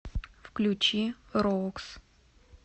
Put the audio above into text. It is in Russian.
включи роукс